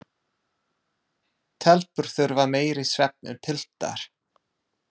Telpur þurfa meiri svefn en piltar.